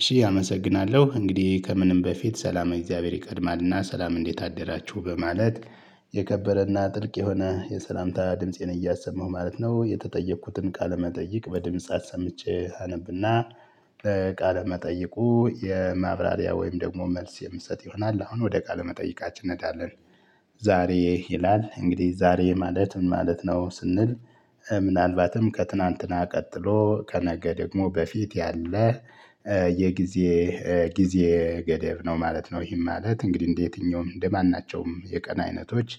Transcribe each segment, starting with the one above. እሺ አመሰግናለሁ እንግዲህ፤ ከምንም በፊት ሰላመ እግዚአብሔር ይቀድማልና ሰላም እንዴት አደራችሁ በማለት የከበረና ጥልቅ የሆነ የሰላምታ ድምፄን እያሰማሁ ማለት ነው የተጠየኩትን ቃለመጠይቅ በድምጽ አሰምቼ አነብና ቃለ መጠይቁ የማብራሪያ ወይም ደግሞ መልስ የምሰጥ ይሆናል አሁን ወደ ቃል መጠይቃችን እንሄዳለን። ዛሬ ይላል እንግዲህ ዛሬ ማለት ምን ማለት ነ? ስንል ምናልባትም ከትናንትና ቀጥሎ ከነገ ደግሞ በፊት ያለ የጊዜ ጊዜ ገደብ ነው ማለት ነው። ይህም ማለት እንግዲህ እንደ የትኛውም እንደ ማናቸውም የቀን አይነቶች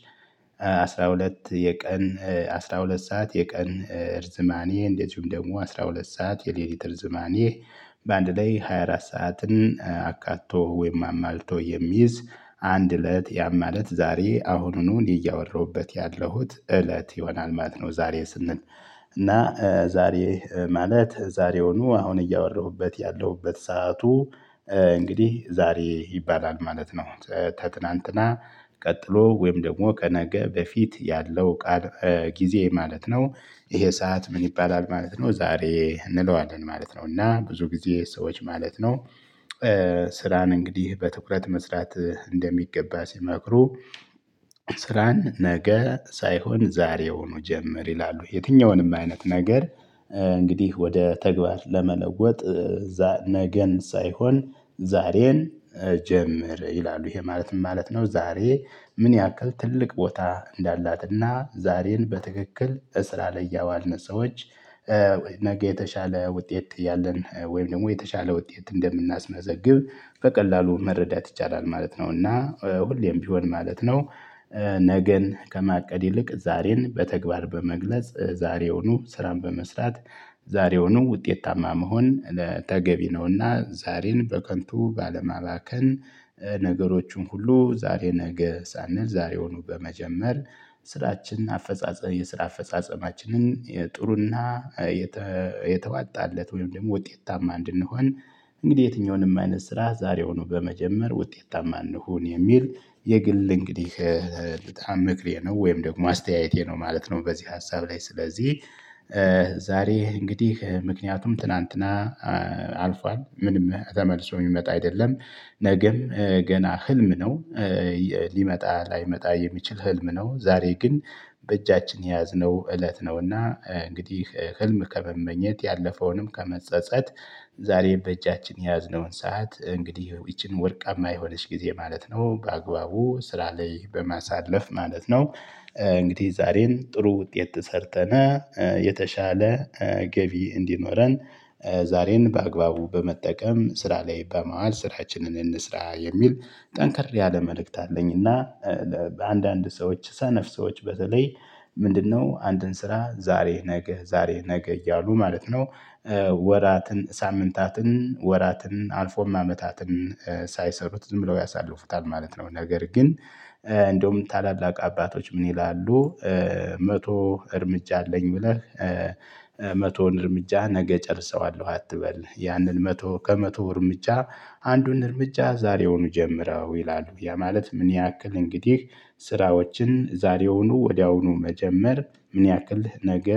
አስራ ሁለት የቀን አስራ ሁለት ሰዓት የቀን እርዝማኔ እንደዚሁም ደግሞ አስራ ሁለት ሰዓት የሌሊት እርዝማኔ በአንድ ላይ ሃያ አራት ሰዓትን አካቶ ወይም አሟልቶ የሚይዝ አንድ እለት ያም ማለት ዛሬ አሁንኑ እኔ እያወራሁበት ያለሁት እለት ይሆናል ማለት ነው። ዛሬ ስንል እና ዛሬ ማለት ዛሬውኑ አሁን እያወራሁበት ያለሁበት ሰዓቱ እንግዲህ ዛሬ ይባላል ማለት ነው። ከትናንትና ቀጥሎ ወይም ደግሞ ከነገ በፊት ያለው ቃል ጊዜ ማለት ነው ይሄ ሰዓት ምን ይባላል ማለት ነው ዛሬ እንለዋለን ማለት ነው እና ብዙ ጊዜ ሰዎች ማለት ነው ስራን እንግዲህ በትኩረት መስራት እንደሚገባ ሲመክሩ ስራን ነገ ሳይሆን ዛሬውኑ ጀምር ይላሉ። የትኛውንም አይነት ነገር እንግዲህ ወደ ተግባር ለመለወጥ ነገን ሳይሆን ዛሬን ጀምር። ይላሉ ይሄ ማለትም ማለት ነው ዛሬ ምን ያክል ትልቅ ቦታ እንዳላትና ዛሬን በትክክል እስራላይ ያዋልን ሰዎች ነገ የተሻለ ውጤት እያለን ወይም ደግሞ የተሻለ ውጤት እንደምናስመዘግብ በቀላሉ መረዳት ይቻላል ማለት ነው እና ሁሌም ቢሆን ማለት ነው ነገን ከማቀድ ይልቅ ዛሬን በተግባር በመግለጽ ዛሬውኑ ስራን በመስራት ዛሬውኑ ውጤታማ መሆን ለተገቢ ነውና ዛሬን በከንቱ ባለማባከን ነገሮቹን ሁሉ ዛሬ ነገ ሳንል ዛሬውኑ በመጀመር ስራችን አፈጻጸም የስራ አፈጻጸማችንን የጥሩና የተዋጣለት ወይም ደግሞ ውጤታማ እንድንሆን እንግዲህ የትኛውንም አይነት ስራ ዛሬውኑ በመጀመር ውጤታማ እንሁን የሚል የግል እንግዲህ በጣም ምክሬ ነው ወይም ደግሞ አስተያየቴ ነው። ማለት ነው በዚህ ሀሳብ ላይ ስለዚህ ዛሬ እንግዲህ ምክንያቱም ትናንትና አልፏል ምንም ተመልሶ የሚመጣ አይደለም ነገም ገና ህልም ነው ሊመጣ ላይመጣ የሚችል ህልም ነው። ዛሬ ግን በእጃችን የያዝነው እለት ነው እና እንግዲህ ህልም ከመመኘት ያለፈውንም ከመጸጸት ዛሬ በእጃችን የያዝነውን ሰዓት እንግዲህ ይቺን ወርቃማ የሆነች ጊዜ ማለት ነው በአግባቡ ስራ ላይ በማሳለፍ ማለት ነው እንግዲህ ዛሬን ጥሩ ውጤት ሰርተን የተሻለ ገቢ እንዲኖረን ዛሬን በአግባቡ በመጠቀም ስራ ላይ በማዋል ስራችንን እንስራ የሚል ጠንከር ያለ መልእክት አለኝና በአንዳንድ ሰዎች ሰነፍ ሰዎች በተለይ፤ ምንድነው አንድን ስራ ዛሬ ነገ ዛሬ ነገ እያሉ ማለት ነው ወራትን፣ ሳምንታትን፣ ወራትን አልፎም አመታትን ሳይሰሩት ዝም ብለው ያሳልፉታል ማለት ነው። ነገር ግን እንደውም ታላላቅ አባቶች ምን ይላሉ መቶ እርምጃ አለኝ ብለህ መቶውን እርምጃ ነገ እጨርሰዋለሁ አትበል ያንን መቶ ከመቶ እርምጃ አንዱን እርምጃ ዛሬውኑ ጀምረው ይላሉ ያ ማለት ምን ያክል እንግዲህ ስራዎችን ዛሬውኑ ወዲያውኑ መጀመር ምን ያክል ነገ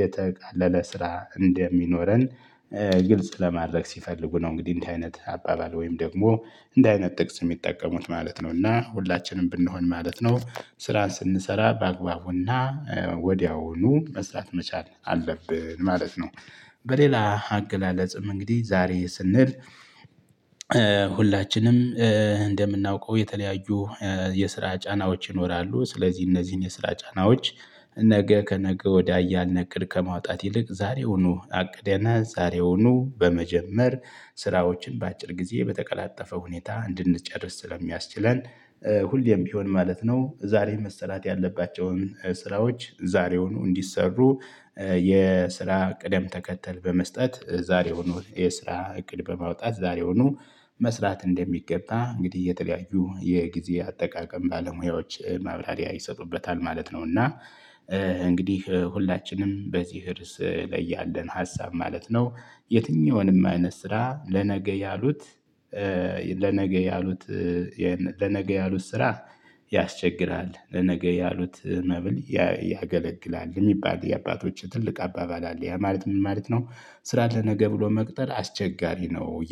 የተቃለለ ስራ እንደሚኖረን ግልጽ ለማድረግ ሲፈልጉ ነው እንግዲህ እንደዚህ አይነት አባባል ወይም ደግሞ እንዲህ አይነት ጥቅስ የሚጠቀሙት ማለት ነው እና ሁላችንም ብንሆን ማለት ነው፤ ስራ ስንሰራ በአግባቡና ወዲያውኑ መስራት መቻል አለብን ማለት ነው። በሌላ አገላለጽም እንግዲህ ዛሬ ስንል ሁላችንም እንደምናውቀው የተለያዩ የስራ ጫናዎች ይኖራሉ ስለዚህ እነዚህን የስራ ጫናዎች ነገ ከነገ ወዲያ እያልነ እቅድ ከማውጣት ይልቅ ዛሬውኑ አቅደንና ዛሬውኑ በመጀመር ስራዎችን በአጭር ጊዜ በተቀላጠፈ ሁኔታ እንድንጨርስ ስለሚያስችለን ሁሌም ቢሆን ማለት ነው ዛሬ መሰራት ያለባቸውን ስራዎች ዛሬውኑ እንዲሰሩ የስራ ቅደም ተከተል በመስጠት ዛሬዉኑ የስራ እቅድ በማውጣት ዛሬዉኑ መስራት እንደሚገባ እንግዲህ የተለያዩ የጊዜ አጠቃቀም ባለሙያዎች ማብራሪያ ይሰጡበታል ማለት ነው እና እንግዲህ ሁላችንም በዚህ ርዕስ ላይ ያለን ሀሳብ ማለት ነው፤ የትኛውንም አይነት ስራ ለነገ ያሉት ለነገ ያሉት ለነገ ያሉት ስራ ያስቸግራል ለነገ ያሉት መብል ያገለግላል። የሚባል የአባቶች ትልቅ አባባል አለ። ያ ማለት ምን ማለት ነው? ስራን ለነገ ብሎ መቅጠር አስቸጋሪ ነው